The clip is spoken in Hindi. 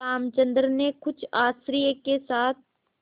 रामचंद्र ने कुछ आश्चर्य के साथ